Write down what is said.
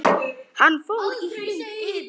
Hann fór í hring yfir